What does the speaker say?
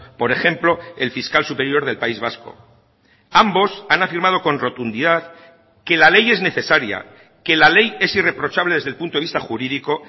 por ejemplo el fiscal superior del país vasco ambos han afirmado con rotundidad que la ley es necesaria que la ley es irreprochable desde el punto de vista jurídico